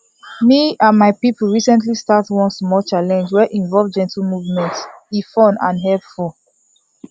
me and my people recently start one small challenge wey involve gentle movement e fun and helpful